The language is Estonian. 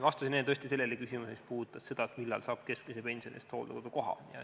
Vastasin enne tõesti sellele küsimusele, mis puudutas seda, millal saab keskmise pensioni eest hooldekodukoha.